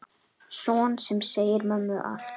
Son sem segir mömmu allt.